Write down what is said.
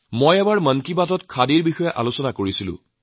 মই এবাৰ মন কী বাতত খাদীৰ সন্দৰ্ভত আলোচনা কৰিছিলোঁ